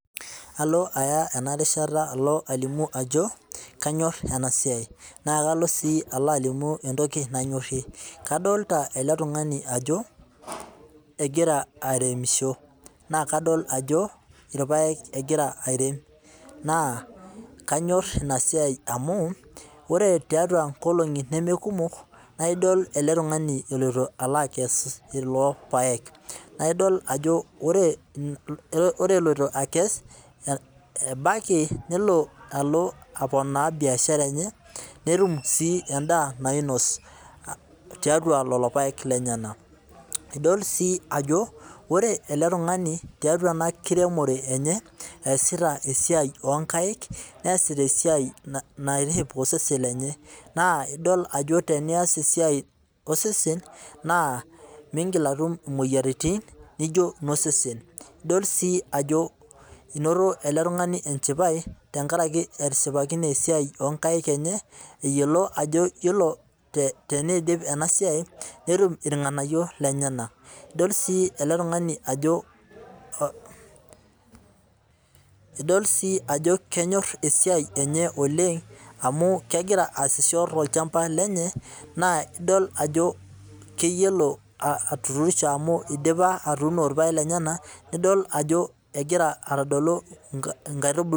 Alo aya ena rishata ajo anyor ena siai naa kalo si alimu etoki nanyorie, adolita ele tungani ajo egira aremisho na kadol ajo irpaek egira airem. Naa kanyor ina siai amu ore tiatua nkolongi neme kumok naa idol ele tungani elotu alo akes kulo paek. Naa idol ajo ore eloito akes ebaiki nelo alo aponaa biashara enye netum sii edaa nainos tiatua lelo paek lenyena. Idol si ajo ore ele tungani tiatua ena kiremore enye eesita esiai oo nkaik neasita esiai naitiship osesen lenye. Naa idol ajo tenias esiai osesen naa migil aatum imoyiaritin naijo no sesen, idol si ajo enoto ele tungani enchipai te nkaraki etishipakine esiai o kaik enye eyiolo ajo ore teneidip ena siai netum irnganayio lenyena. Idol sii ele tungani ajo, idol si ajo kenyoor esiai enye ooleng amu kegira asisho tolchamba lenye naa idol ajo keyiolo amu idipa atuuno irpaek lenyena nidol ajo egira aitodolu ikaitubulu.